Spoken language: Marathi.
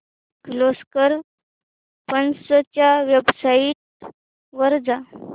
किर्लोस्कर पंप्स च्या वेबसाइट वर जा